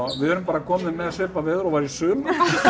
við erum bara komin með svipað veður og var í sumar